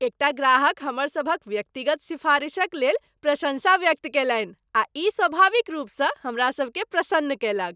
एकटा ग्राहक हमर सभक व्यक्तिगत सिफारिशक लेल प्रशंसा व्यक्त कयलनि आ ई स्वाभाविक रूपसँ हमरा सभकेँ प्रसन्न कयलक।